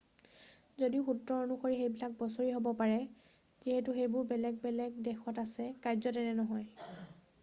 যদিও সূত্ৰ অনুসৰি সেইবিলাক বছৰি হ'ব পাৰে যিহেতু সেইবোৰ বেলেগ বেলেগ দেশত আছে কাৰ্যতঃ এনে নহয়।